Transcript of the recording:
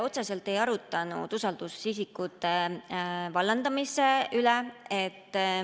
Otseselt me ei arutanud usaldusisikute vallandamise üle.